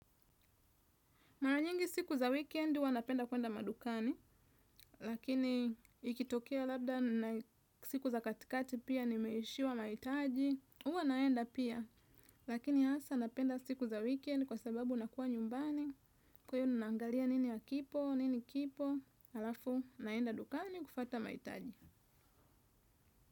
Mara nyingi siku za weekend huwa napenda kuenda madukani, lakini ikitokea labda siku za katikati pia nimeishiwa mahitaji, huwa naenda pia, lakini hasa napenda siku za weekend kwa sababu nakuwa nyumbani, kwa iyo naangalia nini akipo, nini kipo, halafu naenda dukani kufuata mahitaji.